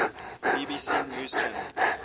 bbc news channel